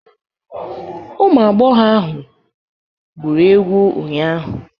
Ụmụ agbọghọ ahụ gwụrụ egwu ụnyahụ.